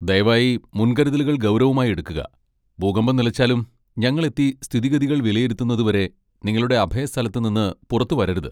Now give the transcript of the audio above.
ദയവായി മുൻകരുതലുകൾ ഗൗരവമായി എടുക്കുക, ഭൂകമ്പം നിലച്ചാലും, ഞങ്ങൾ എത്തി സ്ഥിതിഗതികൾ വിലയിരുത്തുന്നത് വരെ നിങ്ങളുടെ അഭയ സ്ഥലത്ത് നിന്ന് പുറത്ത് വരരുത്.